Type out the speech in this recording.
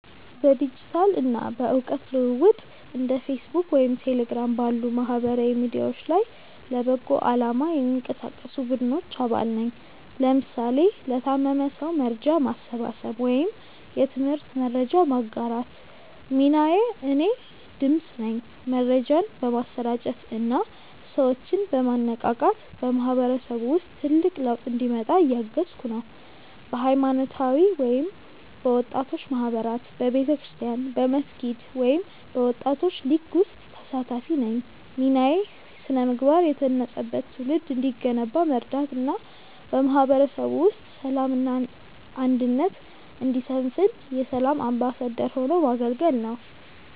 በዲጂታል እና በእውቀት ልውውጥ እንደ ፌስቡክ ወይም ቴሌግራም ባሉ ማህበራዊ ሚዲያዎች ላይ ለበጎ አላማ የሚንቀሳቀሱ ቡድኖች አባል ነኝ (ለምሳሌ ለታመመ ሰው መርጃ ማሰባሰብ ወይም የትምህርት መረጃ ማጋራት) ሚናዬ እኔ "ድምፅ" ነኝ። መረጃን በማሰራጨት እና ሰዎችን በማነቃቃት በማህበረሰቡ ውስጥ ትልቅ ለውጥ እንዲመጣ እያገዝኩ ነው። በሃይማኖታዊ ወይም በወጣቶች ማህበራት በቤተክርስቲያን፣ በመስጊድ ወይም በወጣቶች ሊግ ውስጥ ተሳታፊ ነኝ ሚናዬ ስነ-ምግባር የታነጸበት ትውልድ እንዲገነባ መርዳት እና በማህበረሰቡ ውስጥ ሰላም እና አንድነት እንዲሰፍን የ"ሰላም አምባሳደር" ሆኖ ማገልገል ነው